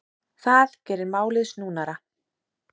Það geri málið snúnara.